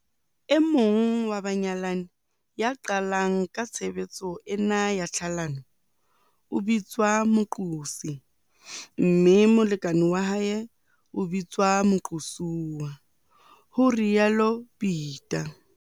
"E mong wa banyalani ya qalang ka tshebetso ena ya tlhalano o bitswa moqosi mme molekane wa hae o bitswa moqosuwa," ho rialo Peta.